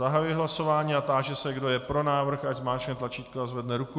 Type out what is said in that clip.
Zahajuji hlasování a táži se, kdo je pro návrh, ať zmáčkne tlačítko a zvedne ruku.